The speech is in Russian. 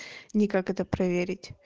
никак это проверить